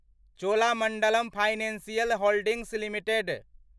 Cholamandalam financial holdings limited